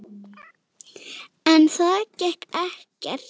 En það gekk ekkert.